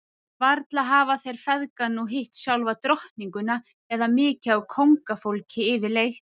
Varla hafa þeir feðgar nú hitt sjálfa drottninguna eða mikið af kóngafólki yfirleitt?